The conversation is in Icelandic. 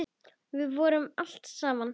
Við fórum allt saman.